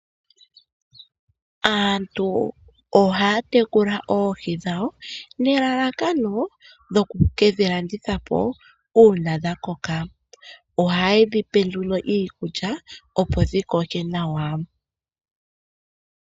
Aantu ohaya tekula oohi dhawo nelalakano lyoku ke dhi landitha po uuna dha koka. Ohaye dhi pe nduno iikulya, opo dhi koke nawa.